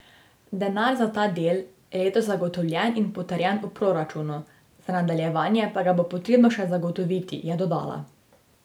Denar za ta del je za letos zagotovljen in potrjen v proračunu, za nadaljevanje pa ga bo potrebno še zagotoviti, je dodala.